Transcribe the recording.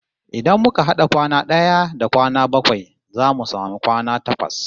Idan muka had'a kwana d'aya da kwana bakwai zamu samu kwana takwas